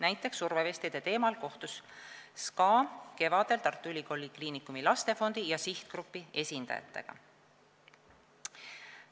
Näiteks kohtus SKA survevestide teemal kevadel Tartu Ülikooli Kliinikumi Lastefondi ja sihtgrupi esindajatega.